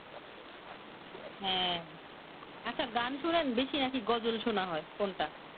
হ্যাঁ আচ্ছা গান শুনেন বেশি না কি গজল শোনা হয় কোন টা?